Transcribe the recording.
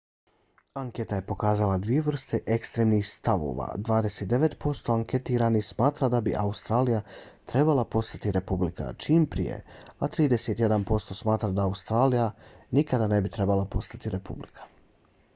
anketa je pokazala dvije vrste ekstremnih stavova: 29 posto anketiranih smatra da bi australija trebala postati republika čim prije a 31 posto smatra da australija nikada ne bi trebala postati republika